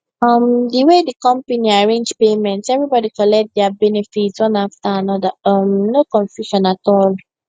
um the way the company arrange payment everybody collect their benefit one after another um no confusion at all